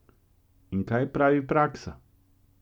In kaj pravi praksa?